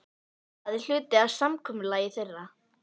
Það er hluti af samkomulagi þeirra.